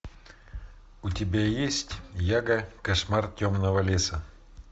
у тебя есть яга кошмар темного леса